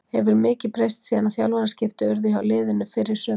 Hefur mikið breyst síðan að þjálfaraskipti urðu hjá liðinu fyrr í sumar?